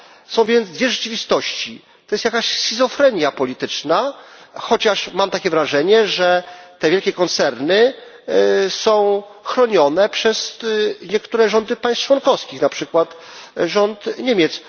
Są więc dwie rzeczywistości to jest jakaś schizofrenia polityczna, chociaż mam takie wrażenie, że te wielkie koncerny są chronione przez niektóre rządy państw członkowskich, na przykład rząd Niemiec.